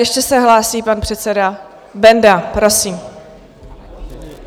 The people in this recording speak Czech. Ještě se hlásí pan předseda Benda, prosím.